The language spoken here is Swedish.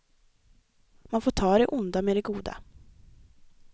Man får ta det onda med det goda.